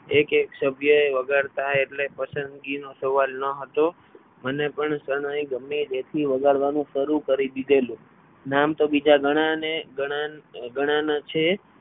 એક એક એ વગાડતા એટલે પસંદગી નો સવાલ ન હતો મને પણ શરણાઈ ગમે ત્યાંથી શાળાએ વગાડવાનું શરૂ કરી દીધેલું નામ તો બીજા ઘણા ને ઘણાને ગણાના છે.